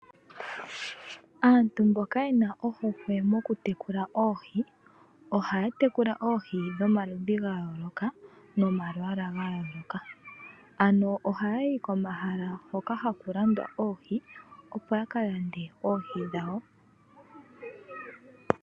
Aantu mboka yena ohokwe mokutekula oohi, ohaya tekula oohi dhomaludhi gayooloka nomalwaala gayooloka, ano ohaya yi komahala hoka hakulandwa oohi opo yakalande oohi dhawo.